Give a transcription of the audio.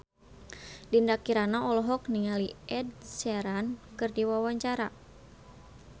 Dinda Kirana olohok ningali Ed Sheeran keur diwawancara